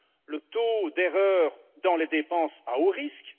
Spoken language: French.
le taux d'erreur dans les dépenses à haut risque